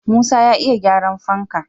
Musa ya iya gyaran fanka